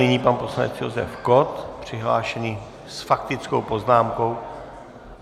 Nyní pan poslanec Josef Kott přihlášený s faktickou poznámkou.